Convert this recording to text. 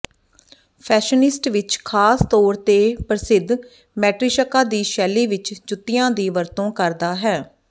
fashionistas ਵਿਚ ਖ਼ਾਸ ਤੌਰ ਤੇ ਪ੍ਰਸਿੱਧ ਮੈਟਰੀਸ਼ਕਾ ਦੀ ਸ਼ੈਲੀ ਵਿਚ ਜੁੱਤੀਆਂ ਦੀ ਵਰਤੋਂ ਕਰਦਾ ਹੈ